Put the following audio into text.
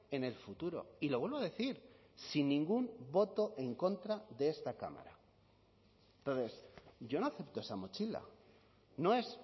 en el futuro y lo vuelvo a decir sin ningún voto en contra de esta cámara entonces yo no acepto esa mochila no es